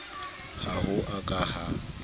ha ho a ka ha